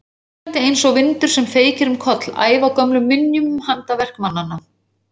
Hvínandi einsog vindur sem feykir um koll ævagömlum minjum um handaverk mannanna.